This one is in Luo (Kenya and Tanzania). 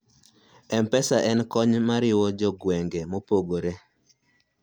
mpesa en kony mariwo jo gwenge maopogore